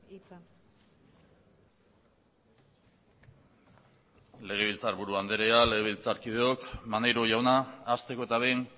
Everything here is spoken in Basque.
hitza legebiltzarburu andrea legebiltzarkideok maneiro jauna hasteko eta behin